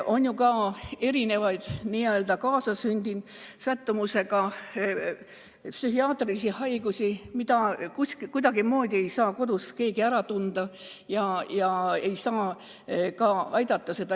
On ju ka erinevaid kaasasündinud sättumusega psühhiaatrilisi haigusi, mida kuidagimoodi ei saa kodus keegi ära tunda ja seda inimest aidata.